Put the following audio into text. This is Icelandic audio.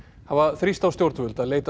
hafa þrýst á stjórnvöld að leita